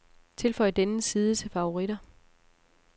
Tilføj denne side til favoritter.